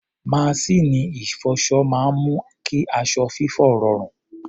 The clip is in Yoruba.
Maṣíìnì ìfọṣọ máa ń mú kí aṣọ fífọ̀ rọrùn.